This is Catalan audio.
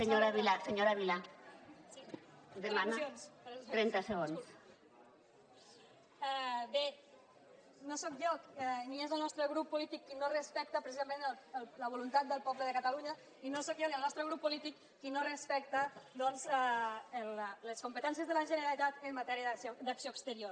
per al·lusions per al bé no sóc jo ni és el nostre grup polític qui no respecta precisament la voluntat del poble de catalunya i no sóc jo ni el nostre grup polític qui no respecta les competències de la generalitat en matèria d’acció exterior